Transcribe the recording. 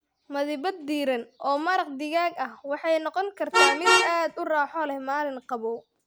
Madiibad diirran oo maraq digaag ah waxay noqon kartaa mid aad u raaxo leh maalin qabow.